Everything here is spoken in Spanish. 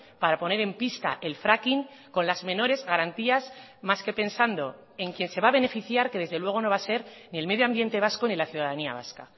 para poner en pista el fracking con las menores garantías más que pensando en quien se va a beneficiar que desde luego no va a ser ni el medio ambiente vasco ni la ciudadanía vasca